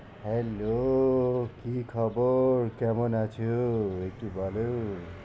Hello কি খবর? কেমন আছো? একটু বলো?